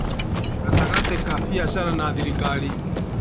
Gatagatĩ ka biacara na thirikari